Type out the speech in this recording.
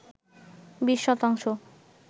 ২০ শতাংশ